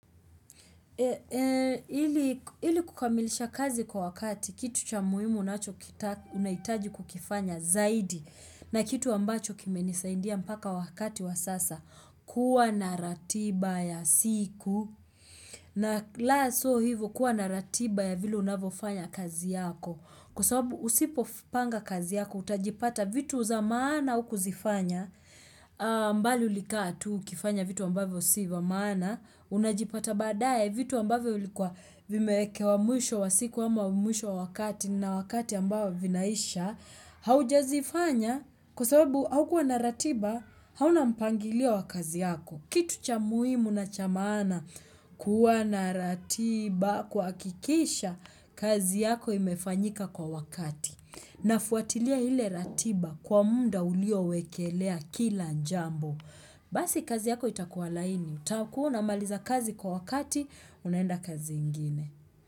Ili kukamilisha kazi kwa wakati kitu cha muhimu unahitaji kukifanya zaidi na kitu ambacho kimenisaidia mpaka wakati wa sasa kuwa na ratiba ya siku na laso hivo kuwa na ratiba ya vile unavofanya kazi yako. Kwa sababu usipopanga kazi yako, utajipata vitu za maana hukuzifanya mbali ulikaa tu, ukifanya vitu ambavyo si vya maana, unajipata baadaye vitu ambavyo vilikuwa vimekewa mwisho wa siku ama mwisho wa wakati na wakati ambao vinaisha, haujazifanya kwa sababu haukuwa na ratiba, hauna mpangilio wa kazi yako. Kitu cha muhimu na cha maana kuwa na ratiba kuhakikisha kazi yako imefanyika kwa wakati. Nafuatilia ile ratiba kwa muda uliowekelea kila njambo. Basi kazi yako itakuwa laini. Utakuwa unamaliza kazi kwa wakati, unaenda kazi ingine.